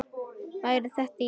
Væri þetta í lagi?